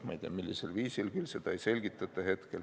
Ma ei tea, millisel viisil küll, seda ei selgitata.